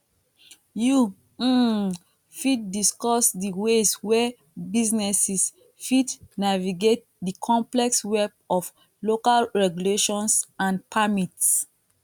you um fit discuss di ways wey businesses fit navigate di complex web of local regulations and permits